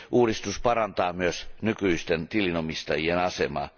Uudistus parantaa myös nykyisten tilinomistajien asemaa.